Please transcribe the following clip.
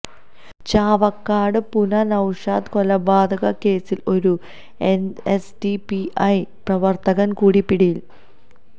ചാവക്കാട് പുന്ന നൌഷാദ് കൊലപാതക കേസില് ഒരു എസ്ഡിപിഐ പ്രവര്ത്തകന് കൂടി പിടിയിൽ